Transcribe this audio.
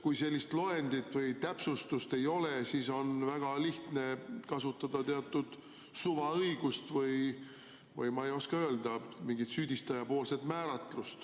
Kui sellist loendit või täpsustust ei ole, siis on väga lihtne kasutada teatud suvaõigust või, ma ei oska öelda, mingit süüdistaja määratlust.